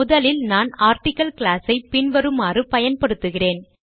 முதலில் நான் article class ஐ பின்வருமாறு பயன்படுத்துகிறேன்